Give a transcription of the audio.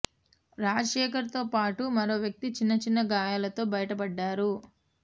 రాజశేఖర్ తో పాటు మరో వ్యక్తి చిన్న చిన్న గాయాలతో బయటపడ్డారు